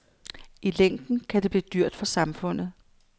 I længden kan det blive dyrt for samfundet.